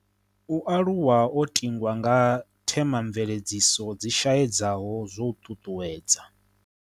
U aluwa o tingwa nga the mamveledziso dzi shaedza ho zwo ṱuṱuwedza